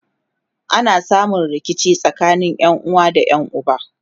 ana samun rikici tsakanin ƴanuwa da ƴan uba